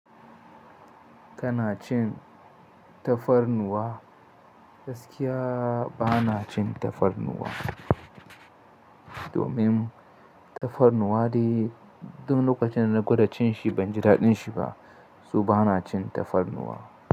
Kana cin tafarnuwa? Gaskiya ba na cin tafarnuwa. Domin tafarnuwa dai duk lokacin da na gwada cin shi ban ji daɗin shi ba, su ba na cin tafarnuwa.